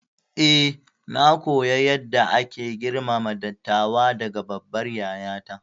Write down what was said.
Eh, na koyi yadda ake girmama dattawa daga babbar yayata.